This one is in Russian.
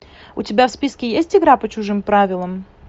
у тебя в списке есть игра по чужим правилам